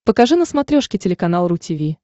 покажи на смотрешке телеканал ру ти ви